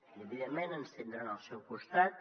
i evidentment ens tindran el seu costat